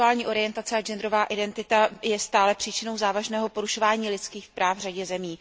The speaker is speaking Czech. Sexuální orientace a genderová identita je stále příčinnou závažného porušování lidských práv v řadě zemí.